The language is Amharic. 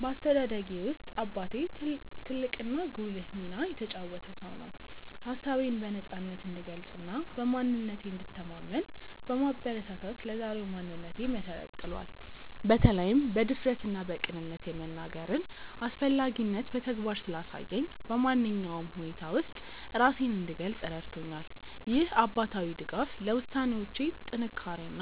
በአስተዳደጌ ውስጥ አባቴ ትልቅና ጉልህ ሚና የተጫወተ ሰው ነው። ሀሳቤን በነፃነት እንድገልጽና በማንነቴ እንድተማመን በማበረታታት ለዛሬው ማንነቴ መሰረት ጥሏል። በተለይም በድፍረትና በቅንነት የመናገርን አስፈላጊነት በተግባር ስላሳየኝ፣ በማንኛውም ሁኔታ ውስጥ ራሴን እንድገልጽ ረድቶኛል። ይህ አባታዊ ድጋፍ ለውሳኔዎቼ ጥንካሬና